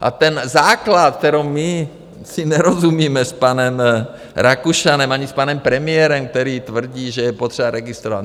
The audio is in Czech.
A ten základ, kde my si nerozumíme s panem Rakušanem ani s panem premiérem, který tvrdí, že je potřeba registrovat.